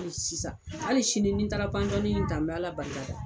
Sisan hali sini ni n taara ta n bɛ Ala barikada